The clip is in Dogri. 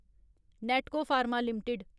Natco Pharma limited